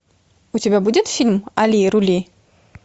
у тебя будет фильм али рули